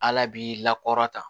Ala b'i lakɔrɔn